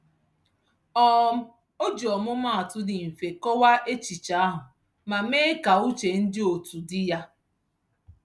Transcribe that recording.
um O ji ọmụmatụ dị mfe kọwaa echiche ahụ ma mee ka uche ndị otu dị ya.